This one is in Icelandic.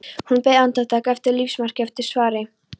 Hún beið andartak eftir lífsmarki, eftir svari.